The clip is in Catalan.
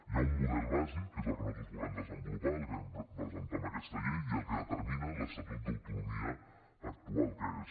hi ha un model bàsic que és el que nosaltres volem desenvolupar el que vam presentar en aquesta llei i el que determina l’estatut d’autonomia actual que és